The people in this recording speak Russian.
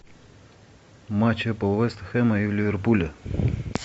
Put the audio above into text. матч апл вест хэма и ливерпуля